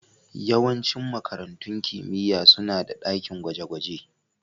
Yawancin makarantun kimiyya suna da dakin gwaje-gwaje